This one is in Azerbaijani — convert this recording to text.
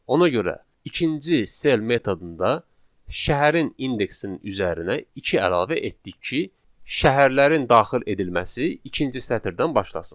Ona görə ikinci cell metodunda şəhərin indeksinin üzərinə iki əlavə etdik ki, şəhərlərin daxil edilməsi ikinci sətirdən başlasın.